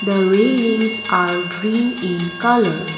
the railings are green in colour.